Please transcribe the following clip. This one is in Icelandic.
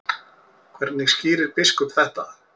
Hvernig skýrir biskup þetta?